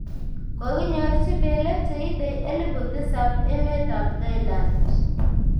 kokinyorji belek che itei elebu tisab emetab Thailand